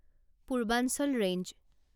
Purvanchal range